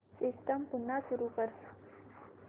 system पुन्हा सुरू कर